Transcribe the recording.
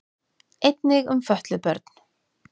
Einnig um fötluð börn.